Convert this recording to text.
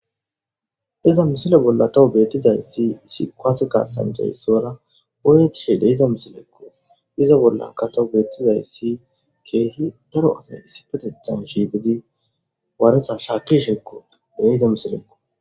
Iza misile bolla tawu beettiday si isi koasekasanceyssora oyretishe deiza misileekko iza bollanka tawu beettizay si keehi daro asay issipetethan shiibidi waaretan shaaki shekko deiza misilekko